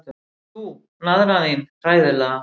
Og þú, naðran þín, hræðilega.